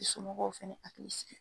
I somɔgɔw fana hakili sigi.